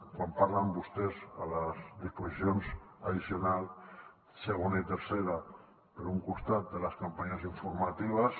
quan parlen vostès a les disposicions addicionals segona i tercera per un costat de les campanyes informatives